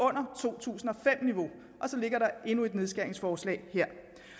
under to tusind og fem niveau og så ligger der endnu et nedskæringsforslag her